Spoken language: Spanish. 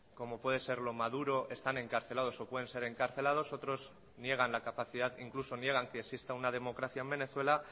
como puede serlo maduro están encarcelados o pueden ser encarcelados otros niegan la capacidad incluso niegan que exista una democracia en venezuela